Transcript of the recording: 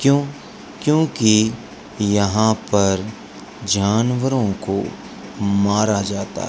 क्यों क्योंकि यहां पर जानवरों को मारा जाता है।